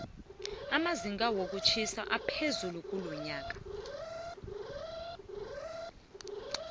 amazinga wokutjhisa aphezulu kulonyoka